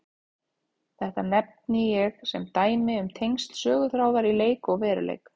Þetta nefni ég sem dæmi um tengsl söguþráðar í leik og veruleik.